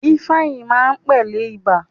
Ifeanyi máa pẹlẹ ibà.